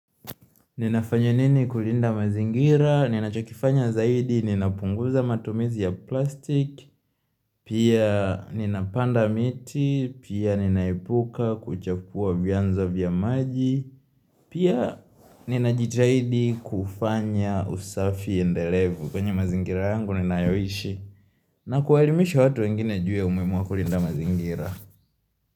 Ninafanya nini kulinda mazingira, ninachakifanya zaidi, ninapunguza matumizi ya plastiki, pia ninapanda miti, pia ninaepuka kuchafua vyanzo vya maji, pia ninajitahidi kufanya usafi endelevu kwenye mazingira yangu ninayoishi na kuwaelimisha watu wengine juu ya umuhimu wa kulinda mazingira.